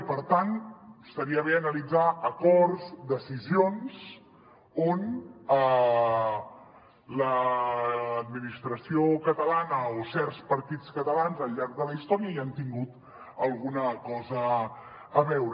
i per tant estaria bé analitzar acords decisions on l’administració catalana o certs partits catalans al llarg de la història hi han tingut alguna cosa a veure